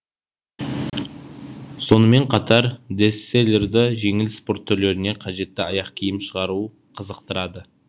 сонымен қатар десслерді жеңіл спорт түрлеріне қажетті аяқ киім шығару қызықтырады